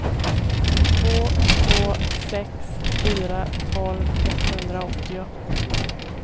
två två sex fyra tolv etthundraåttio